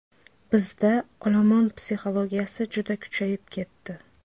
Bizda olomon psixologiyasi juda kuchayib ketdi.